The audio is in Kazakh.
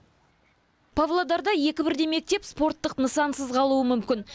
павлодарда екі бірдей мектеп спорттық нысансыз қалуы мүмкін